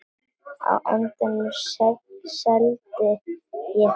Á endanum seldi ég það.